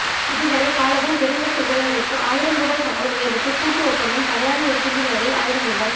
இதுவரை காலமும் பெருந்தோட்ட தொழிலாளர்களுக்கு ஆயிரம் ரூபாய் சம்பள உயர்வுக்கு கூட்டு ஒப்பந்தம் தடையாக இருக்கின்ற நிலையில் ஆயிரம் ரூபாய்